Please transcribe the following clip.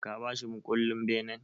Ka ba shi mukullen benen?